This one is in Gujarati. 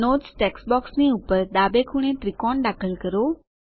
નોટ્સ ટેક્સ્ટ બોક્સની ઉપર ડાબે ખૂણે ત્રિકોણ દાખલ કરો